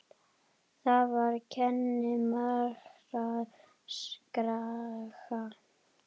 Þar kennir margra grasa.